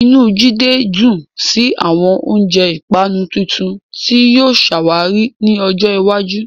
Inú Jide dùn sí àwọn oúnjẹ ìpanu tuntun tí yóò ṣàwárí ní ọjọ́ iwájú.